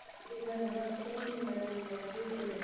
அப்படிங்களா Madam சரிங்கள் Madam நீங்கள் வந்து